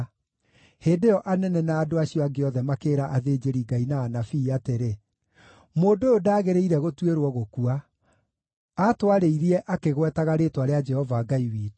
Hĩndĩ ĩyo anene na andũ acio angĩ othe makĩĩra athĩnjĩri-Ngai na anabii atĩrĩ, “Mũndũ ũyũ ndaagĩrĩire gũtuĩrwo gũkua! Aatwarĩirie akĩgwetaga rĩĩtwa rĩa Jehova Ngai witũ.”